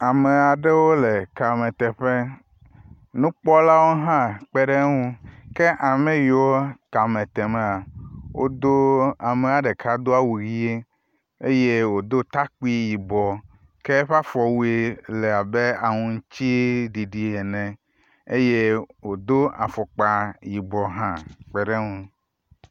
Ame aɖewo le kameteƒe, nukpɔlawo hã kpe ɖe wo ŋu ke ame yiwo kame temaa wodo amea ɖeka do awu ʋie eye wòdo takpui yibɔ ke eƒe afɔ wui le abe aŋutiɖiɖi ene eye wodo afɔkpa yibɔ hã kpeɖe eŋu.